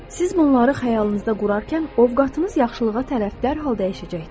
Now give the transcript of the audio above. Siz bunları xəyalınızda qurarkən ovqatınız yaxşılığa tərəf dərhal dəyişəcəkdir.